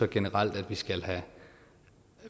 generelt skal